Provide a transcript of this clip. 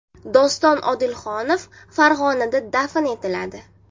Doston Odilxonov Farg‘onada dafn etiladi .